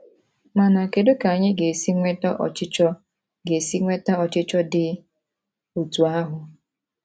Mana kedu ka anyị ga-esi nweta ọchịchọ ga-esi nweta ọchịchọ dị otú ahụ?